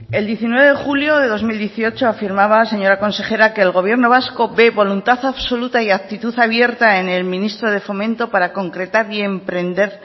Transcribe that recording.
el diecinueve de julio de dos mil dieciocho afirmaba señora consejera que el gobierno vasco ve voluntad absoluta y actitud abierta en el ministro de fomento para concretar y emprender